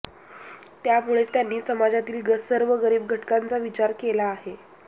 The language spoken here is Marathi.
त्यामुळेच त्यांनी समजातील सर्व गरीब घटकांचा विचार केला आहे